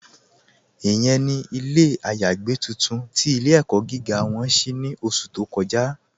Ìyẹ̀n ni ilẹ̀ ayàgbẹ̀ tuntun tí ilẹ̀-ẹ̀kọ́ gígá wọn ṣí ní ọ̀ṣù tó kọ́ja.